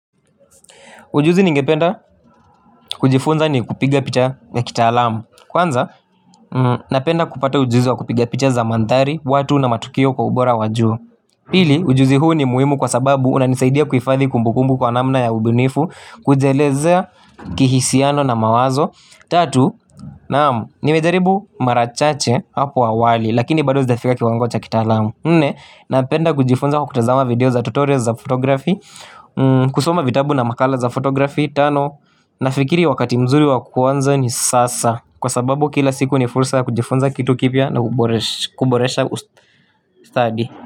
Ujuzi ningependa kujifunza ni kupiga picha ya kitaalamu. Kwanza napenda kupata ujuzi wa kupiga picha za mandhari watu na matukio kwa ubora wa juu. Pili ujuzi huu ni muhimu kwa sababu una nisaidia kuhifadhi kumbukumbu kwa namna ya ubunifu. Kujielezea kihisiano na mawazo. Tatu naam, nimejaribu mara chache hapo awali. Lakini bado sijafika kiwango cha kitaalamu nne napenda kujifunza kutazama video za tutorial za fotografi. Kusoma vitabu na makala za fotografi. Tano nafikiri wakati mzuri wa kuanza ni sasa. Kwa sababu kila siku ni fursa ya kujifunza kitu kipya na kuboresha ustadi.